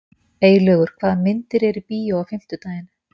Eylaugur, hvaða myndir eru í bíó á fimmtudaginn?